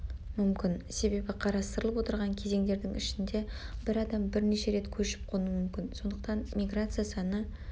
мүмкін себебі қарастырылып отырған кезеңдердің ішінде бір адам бірнеше рет көшіп-қонуы мүмкін сондықтан миграция саны